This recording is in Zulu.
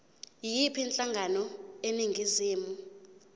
yiyiphi inhlangano eningizimu